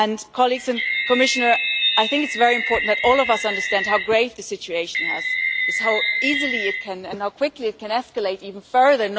Colleagues and Commissioner, I think it is very important that all of us understand how grave the situation is and how easily and how quickly it can escalate even further.